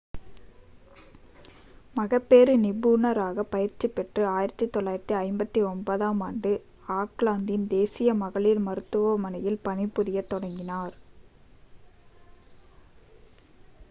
மகப்பேறு நிபுணராகப் பயிற்சி பெற்று 1959-ஆம் ஆண்டில் ஆக்லாந்தின் தேசிய மகளிர் மருத்துவமனையில் பணிபுரியத் தொடங்கினார்